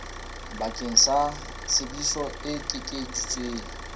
bakeng sa tsebiso e ekeditsweng